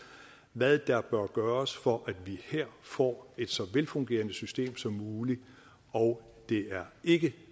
hvad der bør gøres for at vi her får et så velfungerende system som muligt og det er ikke